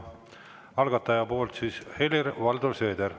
Algatajate nimel Helir-Valdor Seeder.